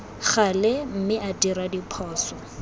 gale mme a dira diphoso